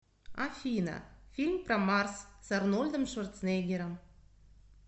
афина фильм про марс с арнольдом шварцнеггером